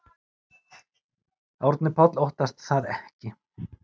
Árni Páll óttast það ekki.